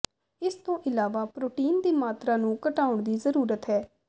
ਇਸ ਤੋਂ ਇਲਾਵਾ ਪ੍ਰੋਟੀਨ ਦੀ ਮਾਤਰਾ ਨੂੰ ਘਟਾਉਣ ਦੀ ਜ਼ਰੂਰਤ ਹੈ